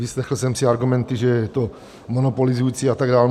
vyslechl jsem si argumenty, že je to monopolizující a tak dál.